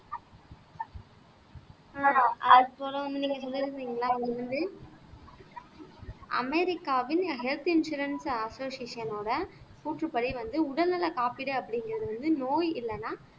அமெரிக்காவின் health insurance அசோசியேசனோட கூற்றுப்படி வந்து உடல்நலக் காப்பீடு அப்படிங்கிறது வந்து நோய் இல்லைன்னா